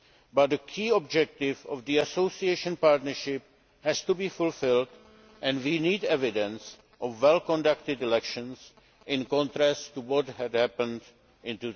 But the key objectives of the Association Partnership have to be fulfilled and we need evidence of well conducted elections, in contrast to what happened